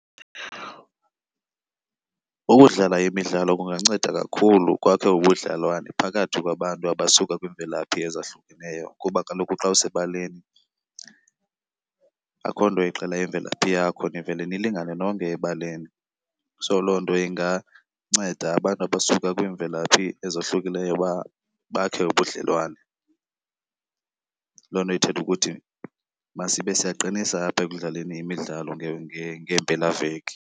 Ukudlala imidlalo kunganceda kakhulu kwakhe ubudlelwane phakathi kwabantu abasuka kwiimvelaphi ezahlukeneyo kuba kaloku xa usebaleni akukho nto ixela imvelaphi yakho nivele nilingane nonke ebaleni. So loo nto inganceda abantu abasuka kwiimvelaphi ezohlukileyo uba bakhe ubudlelwane. Loo nto ithetha ukuthi masibe siyaqinisa apha ekudlaleni imidlalo ngeempelaveki.